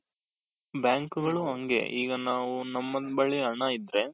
bank ಗಳು ಹಂಗೆ ಈಗ ನಾವು ನಮ್ಮ ಬಳಿ ಹಣ ಇದ್ರೆ,